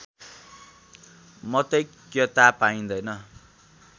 मतैक्यता पाइँदैन